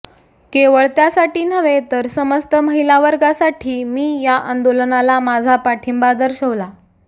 केवळ त्यासाठी नव्हे तर समस्त महिला वर्गासाठी मी या आंदोलनाला माझा पाठिंबा दर्शवला